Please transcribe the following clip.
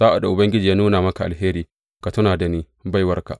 Sa’ad da Ubangiji ya nuna maka alheri, ka tuna da ni, baiwarka.